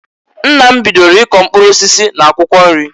Nna m bidoro i kọ mkpụrụ osisi na akwụkwọ nri.